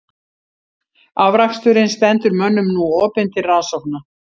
Afraksturinn stendur mönnum nú opinn til rannsókna.